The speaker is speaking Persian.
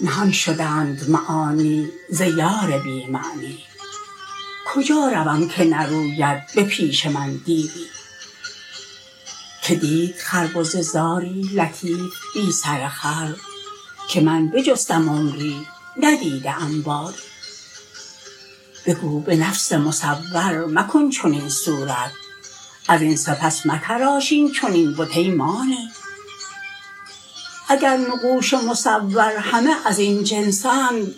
نهان شدند معانی ز یار بی معنی کجا روم که نروید به پیش من دیوی کی دید خربزه زاری لطیف بی سر خر که من بجستم عمری ندیده ام باری بگو به نفس مصور مکن چنین صورت از این سپس متراش این چنین بت ای مانی اگر نقوش مصور همه از این جنس اند